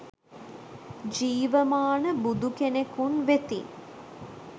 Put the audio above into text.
ජීවමාන බුදු කෙනෙකුන් වෙතින්